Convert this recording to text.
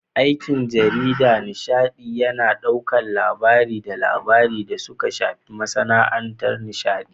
Aikin jarida na nishaɗi yAna ɗaukar labarai da labaran da suka shafi masAna'antar nishaɗi